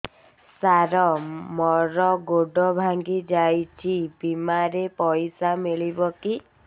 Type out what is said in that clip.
ସାର ମର ଗୋଡ ଭଙ୍ଗି ଯାଇ ଛି ବିମାରେ ପଇସା ମିଳିବ କି